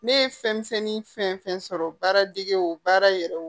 Ne ye fɛnmisɛnnin fɛn fɛn sɔrɔ baara degew baara yɛrɛ